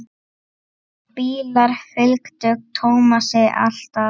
Bílar fylgdu Tómasi alltaf.